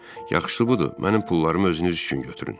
Yaxşısı budur, mənim pullarımı özünüz üçün götürün.